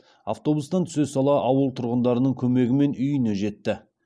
автобустан түсе сала ауыл тұрғындарының көмегімен үйіне жетті